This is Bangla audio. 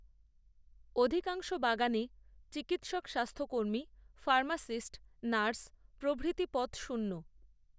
অধিকাংশ বাগানে চিকিৎসক স্বাস্থ্যকর্মী ফার্মাসিস্ট নার্স প্রভৃতি পদ শূন্য